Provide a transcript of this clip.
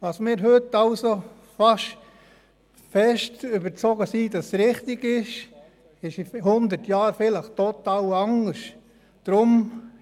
Wovon wir heute der festen Überzeugung sind, es sei richtig, dies ist in hundert Jahren möglicherweise total anders.